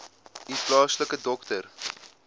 u plaaslike dokter